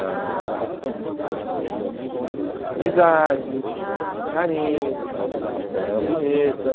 ãh amizade, carinho, ela era ela era bonita.